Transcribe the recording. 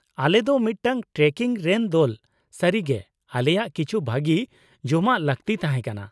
ᱟᱞᱮ ᱫᱚ ᱢᱤᱫᱴᱟᱝ ᱴᱨᱮᱠᱤᱝ ᱨᱮᱱ ᱫᱚᱞ; ᱥᱟᱹᱨᱤ ᱜᱮ ᱟᱞᱮᱭᱟᱜ ᱠᱤᱪᱷᱩ ᱵᱷᱟᱹᱜᱤ ᱡᱚᱢᱟᱜ ᱞᱟᱹᱠᱛᱤ ᱛᱟᱦᱮᱸ ᱠᱟᱱᱟ ᱾